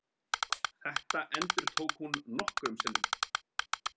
Þetta endurtók hún nokkrum sinnum.